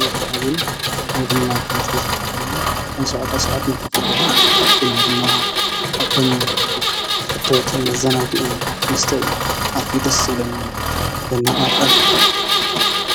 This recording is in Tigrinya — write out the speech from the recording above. እዙ ንኻ እዚና ኣይቦንና ብበት ዝከብፈልምኒ ኣንሸዕጣ ሥዓት መከፍፈልዩ ኡና ድማ ካብቶም ተፈተውቲ መዛናጊእ መስተይ ኣትፊ ደስ ስብለኒ የናኣቕሕ